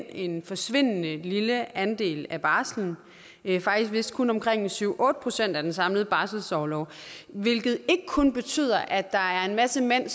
en forsvindende lille andel af barslen det er vist kun omkring syv otte procent af den samlede barselsorlov hvilket ikke kun betyder at der er en masse mænd